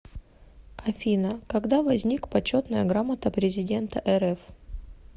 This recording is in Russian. афина когда возник почетная грамота президента рф